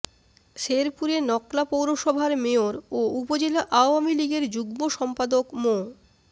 শেরপুরে নকলা পৌরসভার মেয়র ও উপজেলা আওয়ামী লীগের যুগ্ম সম্পাদক মো